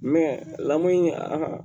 lamɔn in a